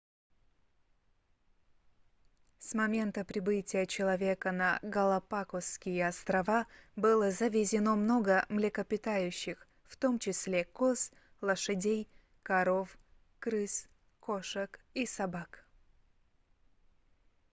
с момента прибытия человека на галапагосские острова было завезено много млекопитающих в том числе коз лошадей коров крыс кошек и собак